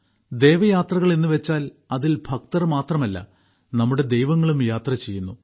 ദേവയാത്രകൾ എന്നുവെച്ചാൽ അതിൽ ഭക്തർ മാത്രമല്ല നമ്മുടെ ദൈവങ്ങളും യാത്രചെയ്യുന്നു